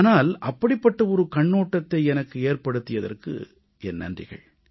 ஆனால் அப்படிப்பட்ட மாறுபட்ட கண்ணோட்டத்தை எனக்கு ஏற்படுத்தியதற்கு என் நன்றிகள்